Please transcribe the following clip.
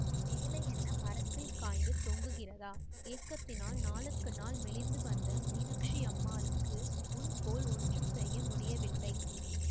வேலை என்ன மரத்தில் காய்த்துத் தொங்குகிறதா ஏக்கத்தினால் நாளுக்கு நாள் மெலிந்து வந்த மீனாக்ஷியம்மாளுக்கு முன்போல் ஒன்றும் செய்ய முடியவில்லை